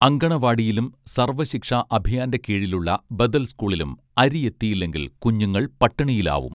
അങ്കണവാടിയിലും സർവശിക്ഷാ അഭിയാന്റെ കീഴീലുള്ള ബദൽ സ്കൂളിലും അരിയെത്തിയില്ലെങ്കിൽ കുഞ്ഞുങ്ങൾ പട്ടിണിയിലാവും